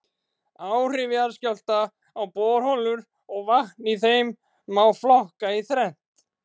Áhrif jarðskjálfta á borholur og vatn í þeim má flokka í þrennt.